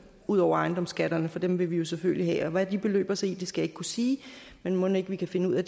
ud over ejendomsskatterne for dem vil vi selvfølgelig have og hvad de beløber sig til skal jeg ikke kunne sige men mon ikke vi kan finde ud af